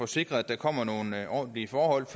sikrer at der kommer nogle ordentlige forhold